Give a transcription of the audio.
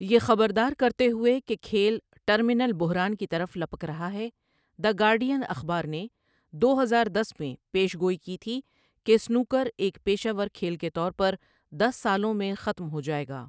یہ خبردار کرتے ہوئے کہ کھیل 'ٹرمینل بحران کی طرف لپک رہا ہے'، دی گارڈین اخبار نے دو ہزار دس میں پیش گوئی کی تھی کہ سنوکر ایک پیشہ ور کھیل کے طور پر دس سالوں میں ختم ہو جائے گا۔